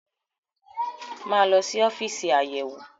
Máa lọ sí ọ́fíìsì Ayẹ̀wé-wò!